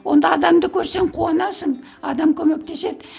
онда адамды көрсең қуанасың адам көмектеседі